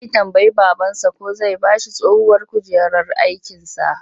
Zai tambayi babansa ko zai ba shi tsohuwar kujerar askinsa